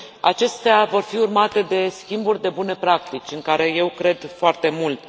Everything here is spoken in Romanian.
Acestea vor fi urmate de schimburi de bune practici în care eu cred foarte mult.